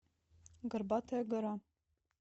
горбатая гора